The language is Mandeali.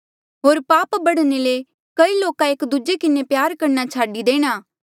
होर पाप बढ़ने ले कई लोका एक दूजे किन्हें प्यार करणा छाडी देणा